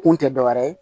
Kun tɛ dɔ wɛrɛ ye